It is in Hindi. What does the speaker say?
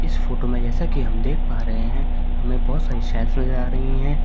इस फोटो में जैसा कि हम देख पा रहे हैं हमे बहुत सारी शेल्व्स नजर आ रही हैं।